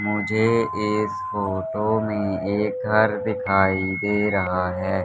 मुझे इस फोटो में एक घर दिखाई दे रहा है।